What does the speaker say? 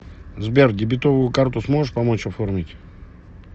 сбер дебетовую карту сможешь помочь оформить